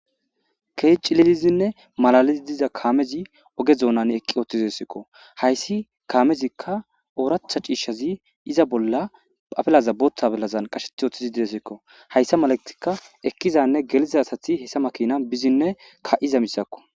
keehi cililizinne malalizi diza kaamezi oge doonan eqqioothizesikko hayssi kaamezikka ooratha ciishshazi iza bolla afelaza bootha afelazan qasheti oththizi didessikko hayssa malagtikka ekkizanne geliza asati hessa makina bizinne ka7iza misakko